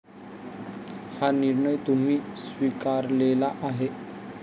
हा निर्णय तुम्ही स्वीकारलेला आहे.